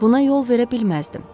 Buna yol verə bilməzdim.